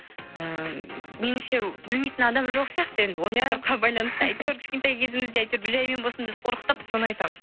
ыыы меніңше білмейтін адам жоқ сияқты енді осы сұраққа байланысты әйтеуір кішкентай кезімізде әйтеуір бүжәймен болсын бізді қорқытып соны айтамын